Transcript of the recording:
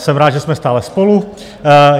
Jsem rád, že jsme stále spolu.